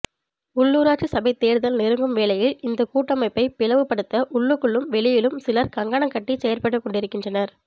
உள்ளூராட்சி சபைத் தேர்தல் நெருங்கும் வேளையில் இந்தக் கூட்டமைப்பைப் பிளவுபடுத்த உள்ளுக்குள்ளும் வெளியிலும் சிலர் கங்கணங்கட்டிச் செயற்பட்டுக்கொண்டிருக்கின்றார்